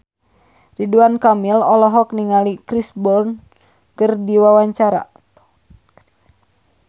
Ridwan Kamil olohok ningali Chris Brown keur diwawancara